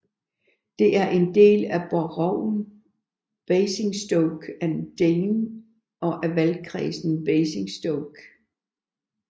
Det er en del boroughen Basingstoke and Deane og af valgkredsen Basingstoke